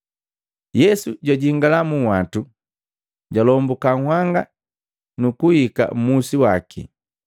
Yesu jwajingala mu nhwatu, jalombuka nhanga, nukuhika mmusi waki.